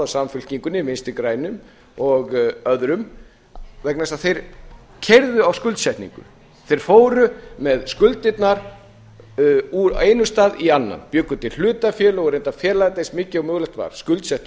samfylkingunni vinstri grænum og öðrum vegna þess að þeir keyrðu á skuldsetningu þeir fóru með skuldirnar úr einum stað í annan bjuggu til hlutafélög og reyndu að fela eins mikið og mögulegt var skuldsettu